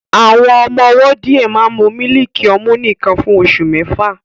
Àwọn ọmọ ọwọ́ díẹ̀ máa ń mu mílìkì ọmú nìkan fún oṣù mẹ́fà